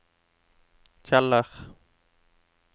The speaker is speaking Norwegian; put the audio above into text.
Kjeller